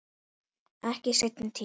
Ekki í seinni tíð.